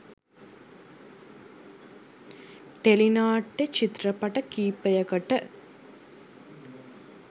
Tele නාට්‍ය චිත්‍රපට කිහිපයකට.